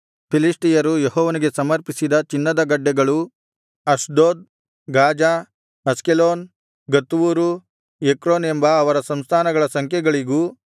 ಫಿಲಿಷ್ಟಿಯರು ಯೆಹೋವನಿಗೆ ಸಮರ್ಪಿಸಿದ ಚಿನ್ನದ ಗಡ್ಡೆಗಳು ಅಷ್ಡೋದ್ ಗಾಜಾ ಅಷ್ಕೆಲೋನ್ ಗತ್ ಊರು ಎಕ್ರೋನ್ ಎಂಬ ಅವರ ಸಂಸ್ಥಾನಗಳ ಸಂಖ್ಯೆಗಳಿಗೂ